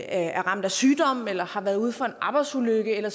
er ramt af sygdom eller har været ude for en arbejdsulykke eller